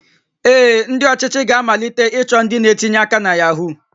Ee, ndị ọchịchị ga-amalite ịchọ ndị na-etinye aka na Yahoo